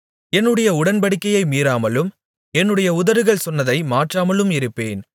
என்னுடைய உடன்படிக்கையை மீறாமலும் என்னுடைய உதடுகள் சொன்னதை மாற்றாமலும் இருப்பேன்